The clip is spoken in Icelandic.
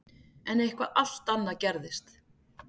En eitthvað allt annað gerðist.